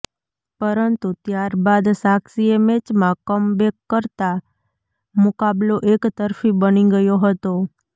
પરંતુ ત્યાર બાદ સાક્ષીએ મેચમાં કમબેક કરતા મુકાબલો એક તરફી બની ગયો હતો